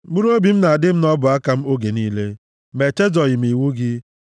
Mkpụrụobi m na-adị m nʼọbụaka m oge niile, ma echezọghị m iwu gị.